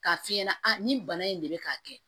K'a f'i ɲɛna nin bana in de bɛ k'a kɛ